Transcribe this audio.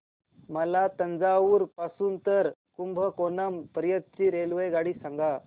मला तंजावुर पासून तर कुंभकोणम पर्यंत ची रेल्वेगाडी सांगा